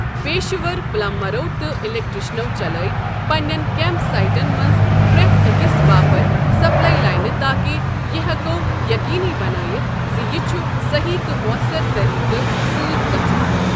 پیشہٕ ور پلمبرو تہٕ الیکٹریشنو چلٲوۍ پنِنٮ۪ن کیمپ سایٹن منٛز پرٛٮ۪تھ أکِس باپتھ سپلائی لاینہ تاکہ یہ ہٮ۪کو یٔقیٖنی بنٲیتھ ز یہ چھ صحیح تہٕ مؤثر طریقہٕ سۭتۍ گژھان۔